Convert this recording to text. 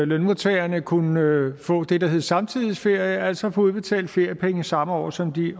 at lønmodtagerne kunne få det der hedder samtidighedsferie altså få udbetalt feriepenge samme år som de